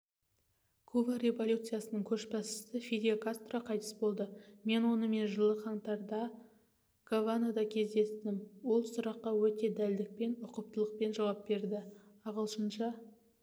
куба революциясының көшбасшысы фидель кастро қайтыс болды мен онымен жылы қаңтарда гаванада кездестім ол сұраққа өте дәлдікпен ұқыптылықпен жауап берді ағылшынша